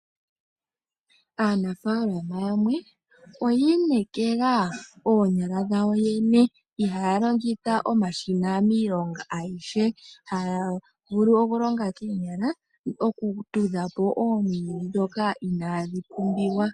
Aanafalama yamwe oyi inekela oonyala dhawo yo yene, ihaya longitha omashina miilonga yawo ayihe. Haya vulu okulonga koonyala okutudha po oomwiidhi ndhoka inaadhi pumbiwa.